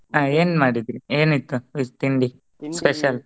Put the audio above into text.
ಹಾ ಏನ್ ಮಾಡಿದ್ರಿ ಏನ ಇತ್ತು ತಿಂಡಿ special ?